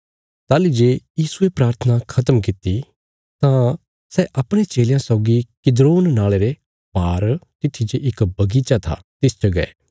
ताहली जे यीशुये प्राथना खत्म कित्ती तां सै अपणे चेलयां सौगी किद्रोन नाले रे पार तित्थी जे इक बागीचा था तिसच गए